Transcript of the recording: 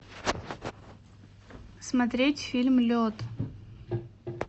смотреть фильм лед